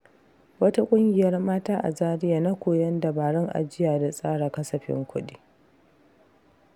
Wata ƙungiyar mata a Zaria na koyon dabarun ajiya da tsara kasafin kuɗi.